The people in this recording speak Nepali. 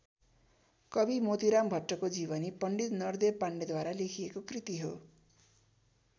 कवि मोतीराम भट्टको जीवनी पण्डित नरदेव पाण्डेद्वारा लेखिएको कृति हो।